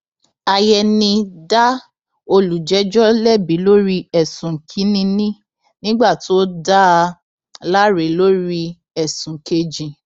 àyẹni dá olùjẹjọ lẹbi lórí ẹsùn kìnínní nígbà tó dá a láre lórí ẹsùn kejì